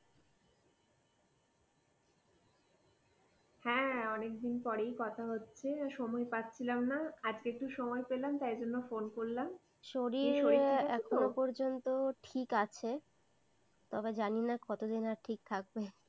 হ্যাঁ অনেকদিন পরেই কথা হচ্ছে। সময় পাচ্ছিলাম না। আজকের একটু সময় পেলাম তাই জন্য Phone করলাম। শরীর ঠিক আছে তো? শরীর এখনও পর্যন্ত ঠিক আছে। তবে জানিনা কতদিন আর ঠিক থাকবে।